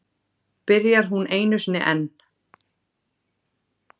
Byrjar hún einu sinni enn.